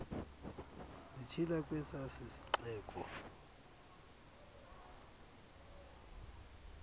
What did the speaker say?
zitshila kwesa sixeko